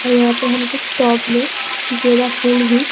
और यहाँ पे हमें कुछ फूल भी --